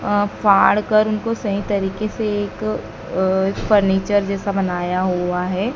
अ फाड़ कर उनको सही तरीके से एक अ फर्नीचर जैसा बनाया हुआ है।